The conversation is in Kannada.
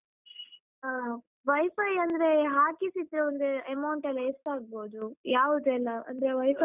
ಹಾ WiFi ಅಂದ್ರೆ ಹಾಕಿಸಿತು ಅಂದ್ರೆ amount ಎಲ್ಲ ಎಷ್ಟಾಗ್ಬೋದು? ಯಾವುದೆಲ್ಲ ಅಂದ್ರೆ WiFi.